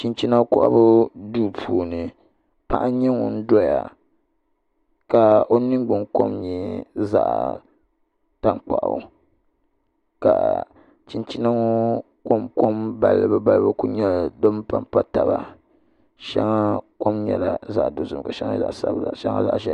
Chinchina kohabu duu puuni paɣa n nyɛ ŋun doya ka o ningbuna kom nyɛ zaɣ tankpaɣu ka chinchina ŋo kom kom balibu balibu ku nyɛ din panpa taba shɛŋa kom nyɛla zaɣ dozim ka shɛŋa nyɛ zaɣ sabila shɛŋa zaɣ ʒiɛhi